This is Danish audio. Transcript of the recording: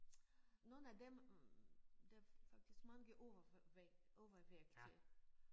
Nogle af dem der faktisk mange over overvægtige